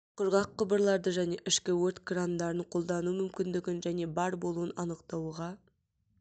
құрғақ құбырларды және ішкі өрт крандарын қолдану мүмкіндігін және бар болуын анықтауға